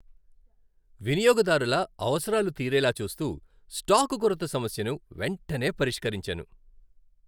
వినియోగదారుల అవసరాలు తీరేలా చూస్తూ, స్టాక్ కొరత సమస్యను వెంటనే పరిష్కరించాను.